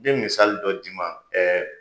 N bɛ misali dɔ d'i ma ɛɛ